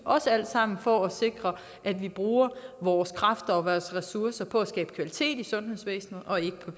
også alt sammen for at sikre at vi bruger vores kræfter og ressourcer på at skabe kvalitet i sundhedsvæsenet og ikke